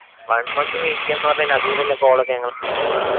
One month wait ചെയ്യാന്ന് പറഞ്ഞ് കയിഞ്ഞാ അത്‌ വരെല്ല call ഒക്കെ ഞങ്ങളെന്താ ചെയ്യാ?